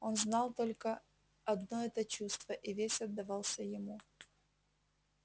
он знал только одно это чувство и весь отдавался ему